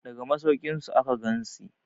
daga masaukinsu aka gansi